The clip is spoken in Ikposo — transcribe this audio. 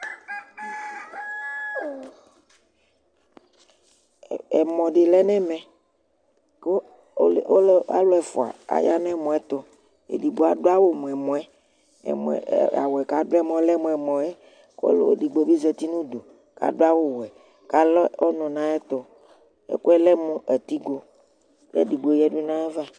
ɛmɔ di lɛnʋ ɛmɛ kʋ alʋ ɛƒʋa aya nʋ ɛmɔɛ tʋ, ɛdigbɔ adʋ awʋmʋ ɛmɔɛ, awʋɛ kʋ adʋɛ mʋa ɔlɛ mʋ ɛmɔɛ kʋ ɔlʋ ɛdigbɔ bi zati nʋ ʋdʋ kʋ adʋ awʋ wɛ kʋ alɛ ɔnʋ nʋ ayɛtʋ, ɛkʋɛ lɛmʋ atigɔ kʋ ɛdigbɔ yadʋ nʋ aɣa